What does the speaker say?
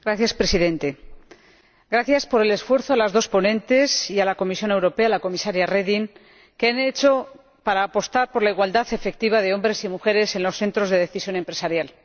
Señor Presidente, quiero agradecer el esfuerzo que las dos ponentes y la Comisión Europea —la Comisaria Reding— han hecho para apostar por la igualdad efectiva de hombres y mujeres en los centros de decisión empresarial.